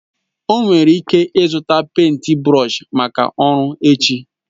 O nwere ike zụta pèịnt brọọshi maka ọrụ echi